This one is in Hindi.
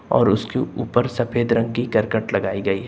और उसके ऊपर सफेद रंग की करकट लगाई गई है।